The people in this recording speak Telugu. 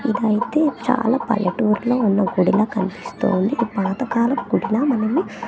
ఇదైతే చాలా పల్లెటూర్లో ఉన్న గుడిలా కనిపిస్తోంది పాత కాలపు గుడిలా మనము.